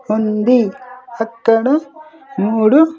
ఉంది అక్కడ మూడు--